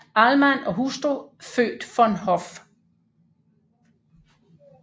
Ahlmann og hustru født von Hoff